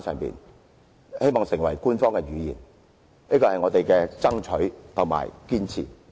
希望手語成為官方語言，這是我們的爭取和堅持。